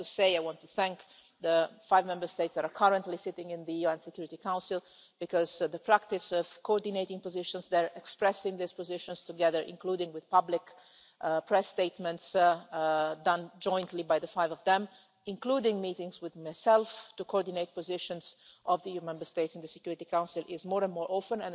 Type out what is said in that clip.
I have to say, I want to thank the five Member States that are currently sitting in the UN Security Council, because the practice of coordinating positions they're expressing these positions together, including with public press statements done jointly by the five of them, including meetings with myself to coordinate positions of the EU Member States in the Security Council is more and more often.